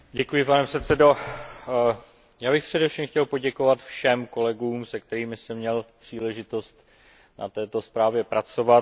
Pane předsedající, já bych především chtěl poděkovat všem kolegům, se kterými jsem měl příležitost na této zprávě pracovat.